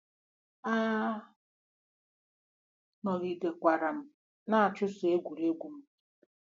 A nọgidekwara m na-achụsokwa egwuregwu m.